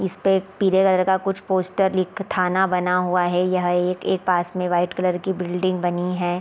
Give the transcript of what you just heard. इसपे एक पीले कलर का कुछ पोस्टर लिख थाना बना हुआ है यह एक एक पास में वाइट कलर की बिल्डिंग बनी है।